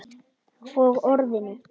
Og Orðinu.